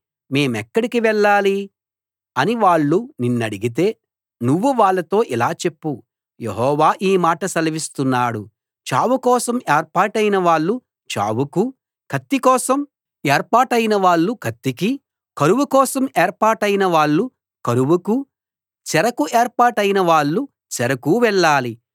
మేమెక్కడికి వెళ్ళాలి అని వాళ్ళు నిన్నడితే నువ్వు వాళ్ళతో ఇలా చెప్పు యెహోవా ఈ మాట సెలవిస్తున్నాడు చావు కోసం ఏర్పాటైన వాళ్ళు చావుకూ కత్తి కోసం ఏర్పాటైన వాళ్ళు కత్తికీ కరువు కోసం ఏర్పాటైన వాళ్ళు కరువుకూ చెరకు ఏర్పాటైన వాళ్ళు చెరకూ వెళ్ళాలి